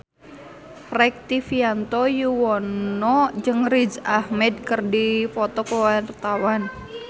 Rektivianto Yoewono jeung Riz Ahmed keur dipoto ku wartawan